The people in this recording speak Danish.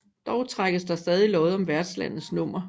Dog trækkes der stadig lod om værtslandets nummer